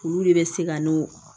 Olu de bɛ se ka n'o